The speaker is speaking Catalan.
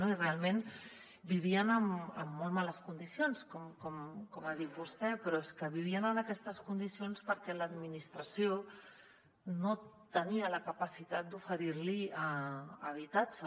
i realment vivien en molt males condicions com ha dit vostè però és que vivien en aquestes condicions perquè l’administració no tenia la capacitat d’oferir los habitatge